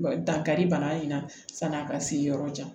Dankari bana in na sani a ka se yɔrɔ jan